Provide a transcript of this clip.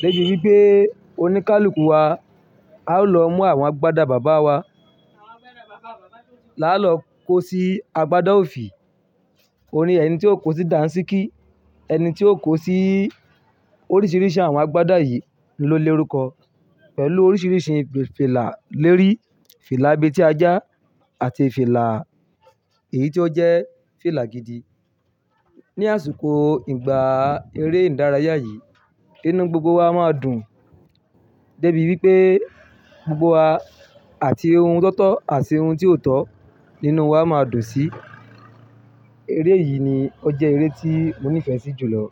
débi wípé oníkálukú wa a ó lọ mú àwọn agbádá bàbá wa láàlọ́ kó sí agbádá òfì. Orí ẹni tí ó kó sí Dàńṣíkí, ẹni tí ó kó sí oríṣiríṣi àwọn agbádá yìí ni ó l'orúkọ pẹ̀lú oríṣiríṣi fìlà lérí, fìlà ab'etiajá àti fìlà èyí tí ó jẹ́ fìlà gidi. Ni àsìkò ìgbà eré ìdárayá yìí inú gbogbo wa máa dùn débi wípé gbogbo wa àti ohun tó tọ́ àti ohun tí ò tọ́ nínú wa máa dùn sí. Eré yìí ni ó jẹ́ eré tí mo nífẹ̀ẹ́ sí jù lọ.